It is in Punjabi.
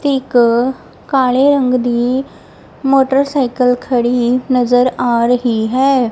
ਤੇ ਇੱਕ ਕਾਲੇ ਰੰਗ ਦੀ ਮੋਟਰਸਾਈਕਲ ਖੜੀ ਨਜ਼ਰ ਆ ਰਹੀ ਹੈ।